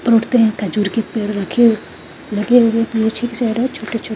हैं खजूर के पेड़ रखे हैं लगे छोटे-छो --